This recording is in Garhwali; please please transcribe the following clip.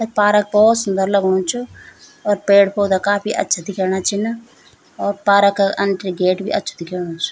पारक भोत सुन्दर लगणु च और पेड़-पौधा काफी अच्छा दिखेणा छिन और पारक एंट्री गेट भी अछू दिखेणु च।